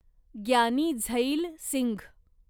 Giani Zail Singh